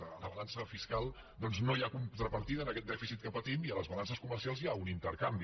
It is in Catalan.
a la balança fiscal doncs no hi ha contrapartida en aquest dèficit que patim i a les balances comercials hi ha un intercanvi